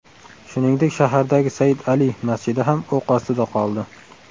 Shuningdek, shahardagi Said Ali masjidi ham o‘q ostida qoldi.